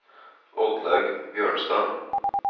Oddlaug Bjørnstad